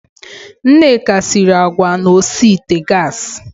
Nneka siri agwa na osi ite gassi.